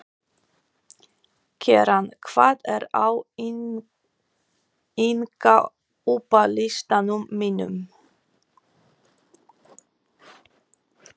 Keran, hvað er á innkaupalistanum mínum?